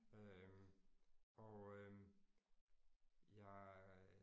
Øh og øh jeg